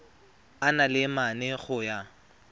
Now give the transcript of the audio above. a le mane go ya